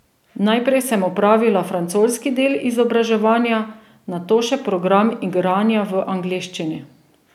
Najprej sem opravila francoski del izobraževanja, nato še program igranja v angleščini.